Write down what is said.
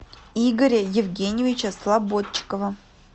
игоря евгеньевича слободчикова